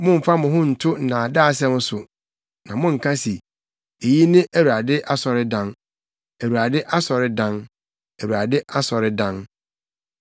Mommfa mo ho nto nnaadaasɛm so na monnka se, “Eyi ne Awurade asɔredan, Awurade asɔredan, Awurade asɔredan!”